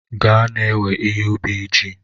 Gaa na-ewe ihe ubi ji!